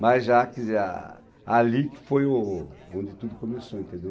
Mas já, que já, ali que foi o onde tudo começou, entendeu?